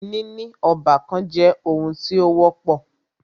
Níní ọ́bàkan jẹ́ oun tí o wọ́pọ̀.